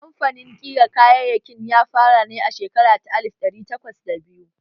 Kamfanin ƙira kayayyakin ya fara ne a shekara ta alif ɗari takwas da biyu